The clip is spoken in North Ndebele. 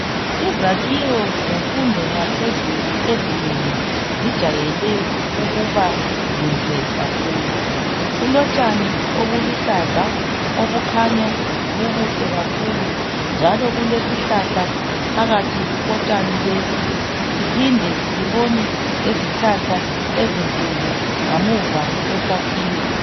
Izakhiwo zemfundo yaphezulu ezinengi zijayele ukuba zinhle kakhulu. Kulotshani obuluhlaza obukhanya bubuhle kakhulu njalo Kulesihlahla phakathi kotshani lobu siphinde sibone lezihlahla ezinkulu ngemuva kwesakhiwo.